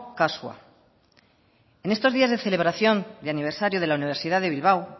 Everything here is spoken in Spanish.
kasua en estos días de celebración de aniversario de la universidad de bilbao